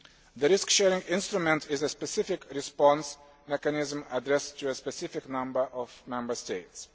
The risk sharing instrument is a specific response mechanism addressed to a specific number of Member States.